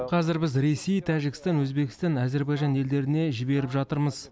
қазір біз ресей тәжікстан өзбекстан әзербайжан елдеріне жіберіп жатырмыз